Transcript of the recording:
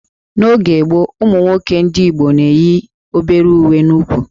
N'oge gboo, ụmụ nwoke ndị Igbo na-eyi obere uwe n'úkwù